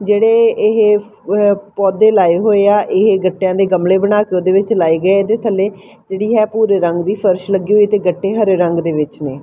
ਜੇਹੜੇ ਏਹ ਪੌਧੇ ਲਾਏ ਹੋਇਆ ਏਹ ਗੱਟੇਯਾਂ ਦੇ ਗਮਲੇ ਬਣਾਕੇ ਓਹਦੇ ਵਿੱਚ ਲਾਏ ਗਏ ਏਹਦੇ ਥੱਲੇ ਜੇਹੜੀ ਹੈ ਭੂਰੇ ਰੰਗ ਦੀ ਫ਼ਰਸ਼ ਲੱਗੀ ਹੋਈ ਤੇ ਗੱਟੇ ਹਰੇ ਰੰਗ ਦੇ ਵਿੱਚ ਨੇਂ।